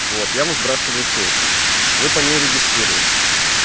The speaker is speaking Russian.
вот я вам сбрасываю ссылку вы по ней регистрируетесь